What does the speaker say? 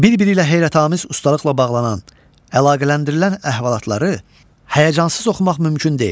Bir-biri ilə heyrətamiz ustalıqla bağlanan, əlaqələndirilən əhvalatları həyəcansız oxumaq mümkün deyil.